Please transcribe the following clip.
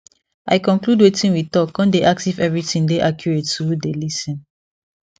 i conclude wetin we talk con dey ask if everything dey accurate to who dey lis ten